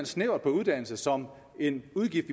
snævert på uddannelse som en udgift